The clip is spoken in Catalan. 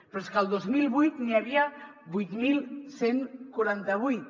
però és el que el dos mil vuit n’hi havia vuit mil cent i quaranta vuit